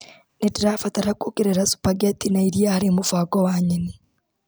Nĩndĩrabaratara kuongerera supangeti na iria harĩ mũbango wa nyeni.